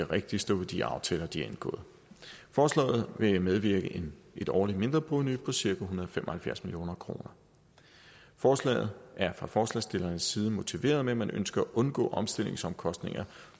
rigtig stå ved de aftaler de har indgået forslaget vil bevirke et årligt mindreprovenu på cirka en hundrede og fem og halvfjerds million kroner forslaget er fra forslagsstillernes side motiveret med at man ønsker at undgå omstillingsomkostninger